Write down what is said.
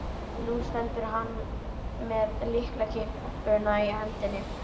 Nú stendur hann með lyklakippuna í hendinni.